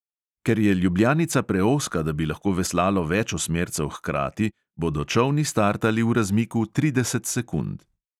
Ker je ljubljanica preozka, da bi lahko veslalo več osmercev hkrati, bodo čolni startali v razmiku trideset sekund.